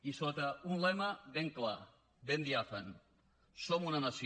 i sota un lema ben clar ben diàfan som una nació